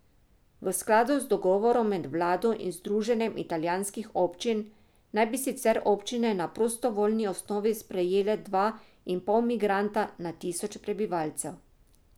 V skladu z dogovorom med vlado in združenjem italijanskih občin, naj bi sicer občine na prostovoljni osnovi sprejele dva in pol migranta na tisoč prebivalcev.